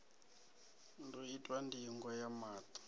ḓo itwa ndingo ya maṱo